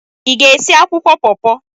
Ị ga-esi akwụkwọ paw-paw?